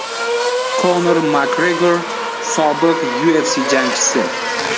Konor Makgregor, sobiq UFC jangchisi.